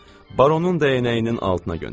Baronun dəyənəyinin altına göndərib.